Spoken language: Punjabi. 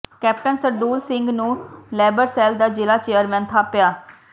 ਕੈਪਟਨ ਸਰਦੂਲ ਸਿੰਘ ਨੂੰ ਲੇਬਰਸੈਲ ਦਾ ਜ਼ਿਲ੍ਹਾ ਚੇਅਰਮੈਨ ਥਾਪਿਆ